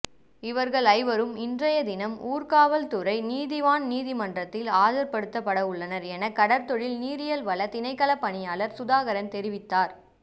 இவர்கள் ஐவரும் இன்றைய தினம் ஊர்காவற்துறை நீதவான் நீதிமன்றில் ஆஜர்படுத்தப்படுத்தப்படவுள்ளனர் என கடற்தொழில் நீரியல்வள திணைக்கள பணிப்பாளர் சுதாகரன் தெரிவித்தார்